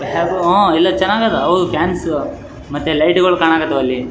ಆ ಇಲ್ಲ ಚೆನ್ನಾಗ ಅದಾ ಹೌದ ಮತ್ತೆ ಲೈಟ್ಗಳು ಕಾಣಕತ್ತಾವ ಅಲ್ಲಿ .